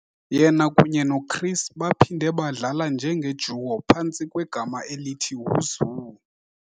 Yena kunye noChris baphinde badlala njenge-duo phantsi kwegama elithi "Who's Who?".